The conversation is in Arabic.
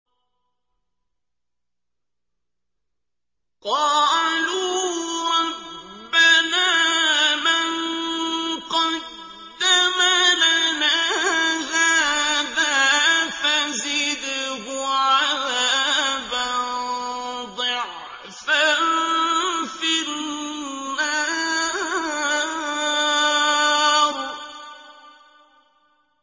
قَالُوا رَبَّنَا مَن قَدَّمَ لَنَا هَٰذَا فَزِدْهُ عَذَابًا ضِعْفًا فِي النَّارِ